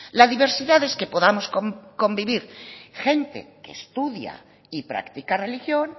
la diversidad es que podamos convivir gente que estudia y practica religión